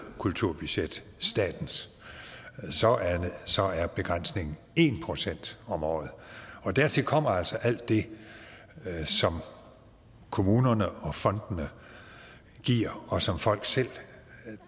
kulturbudget statens så er begrænsningen en procent om året dertil kommer altså alt det som kommunerne og fondene giver og som folk selv